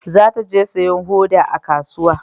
Za ta je sayan hoda a kasuwa